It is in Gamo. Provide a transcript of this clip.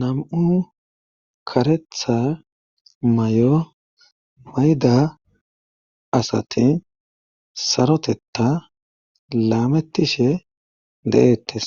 Nam'u karetha may'o mayda asati sarotetta laamettishe de'ettes